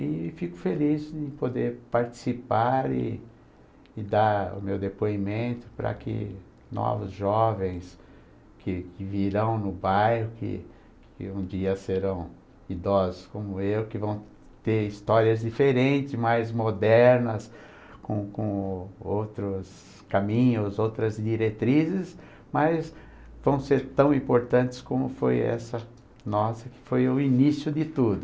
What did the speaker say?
E fico feliz de poder participar e e dar o meu depoimento para que novos jovens que que virão no bairro, que que um dia serão idosos como eu, que vão ter histórias diferentes, mais modernas, com com outros caminhos, outras diretrizes, mas vão ser tão importantes como foi essa nossa, que foi o início de tudo.